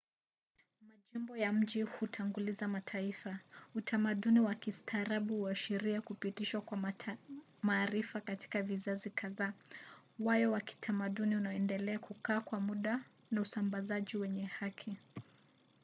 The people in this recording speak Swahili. majimbo ya miji hutanguliza mataifa. utamaduni wa kistaarabu huashiria kupitishwa kwa maarifa katika vizazi kadhaa wayo wa kitamaduni unaoendelea kukaa kwa muda na usambazaji wenye haki